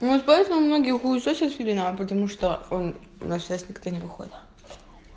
может поэтому многие хуесосят филина потому что он у нас сейчас как-то не выходит